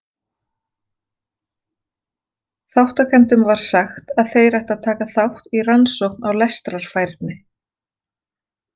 Þátttakendum var sagt að þeir ættu að taka þátt í rannsókn á lestrarfærni.